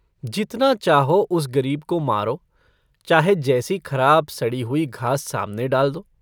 जितना चाहो उस गरीब को मारो, चाहे जैसी खराब, सड़ी हुई घास सामने डाल दो।